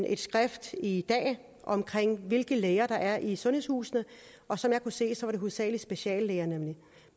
et skrift i dag om hvilke læger der er i sundhedshusene og som jeg kunne se var det hovedsagelig speciallæger